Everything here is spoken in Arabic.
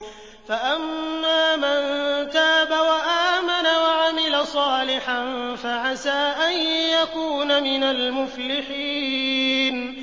فَأَمَّا مَن تَابَ وَآمَنَ وَعَمِلَ صَالِحًا فَعَسَىٰ أَن يَكُونَ مِنَ الْمُفْلِحِينَ